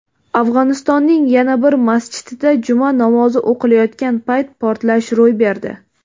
Afg‘onistonning yana bir masjidida juma namozi o‘qilayotgan payt portlash ro‘y berdi.